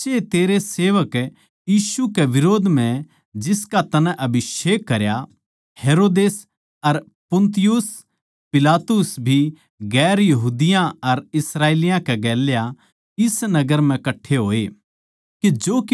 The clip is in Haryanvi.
क्यूँके साच्चए तेरै सेवक यीशु कै बिरोध म्ह जिसका तन्नै अभिषेक करया हेरोदेस अर पुन्तियुस पिलातुस भी दुसरी जात्तां अर इस्राएलियाँ कै गेल्या इस नगर म्ह कट्ठे होए